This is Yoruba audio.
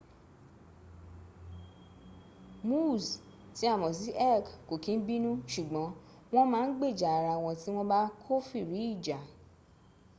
moose tí a ms sí elk kò kín bínu ṣùgbọ́n wọ́n ma gbèjà ara wọn tí wọ́n bá kófìrí ìjà